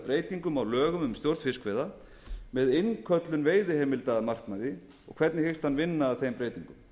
breytingum á lögum um stjórn fiskveiða með innköllun veiðiheimilda að markmiði hvernig hyggst ráðherra vinna að þeim breytingum